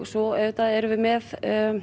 svo auðvitað erum við með